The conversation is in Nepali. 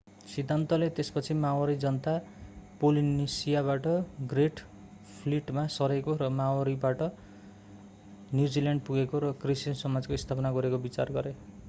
सिद्धान्तले त्यसपछि माओरी जनता पोलिनेसियाबाट ग्रेट फ्लिटमा सरेको र मोरिओरीबाट न्युजिल्यान्ड पुगेको र कृषि समाजको स्थापना गरेको विचार गरे